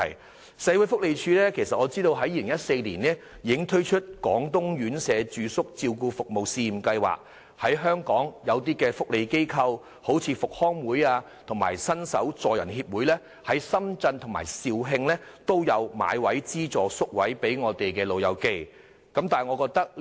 據我所知，社會福利署已於2014年推行廣東院舍住宿照顧服務試驗計劃，讓一些香港福利機構，例如香港復康會和伸手助人協會，在深圳和肇慶購買資助宿位供香港長者入住。